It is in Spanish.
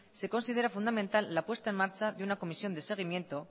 se considera fundamental la puesta en marcha de una comisión de seguimiento